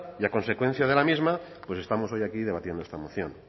y a consecuencia de la misma pues estamos hoy aquí debatiendo esta moción